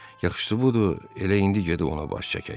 Yaxşıdır bu da elə indi gedib ona baş çəkək.